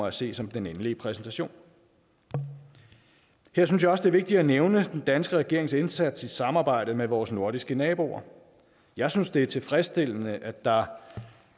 at se som den endelige præsentation her synes jeg også det er vigtigt at nævne den danske regerings indsats i samarbejde med vores nordiske naboer jeg synes det er tilfredsstillende at der